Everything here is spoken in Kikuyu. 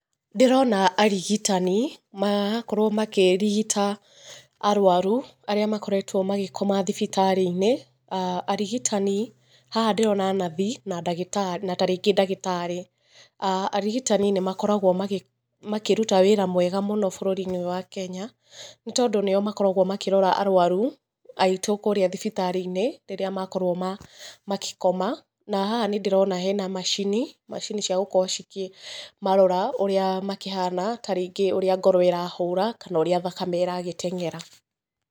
Ndĩrona arigitani, magakorwo makĩrigita arũaru, arĩa makoretwo magĩkoma thibitarĩ-inĩ. Arigitani haha ndĩrona nathi, na ndagĩtarĩ na tarĩngĩ ndagĩtarĩ. Arigitani nĩ makoragwo makĩruta wĩra mwega mũno bũrũri-inĩ ũyũ wa Kenya, nĩ tondũ nĩo makoragwo makĩrora arũaru, aitũ kũũrĩa thibitarĩ-inĩ, rĩrĩa makorwo makĩkoma. Na haha nĩ ndĩrona hena macini, macini cia gũkorwo cikĩmarora ũrĩa makĩhana, tarĩngĩ ũrĩa ngoro ĩrahũra, kana ũrĩa thakame ĩragĩteng'era.